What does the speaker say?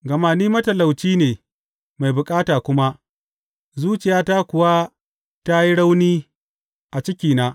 Gama ni matalauci ne mai bukata kuma, zuciyata kuwa ta yi rauni a cikina.